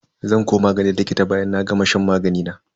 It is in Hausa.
Zan koma ganin likita bayan na gama shan magani na.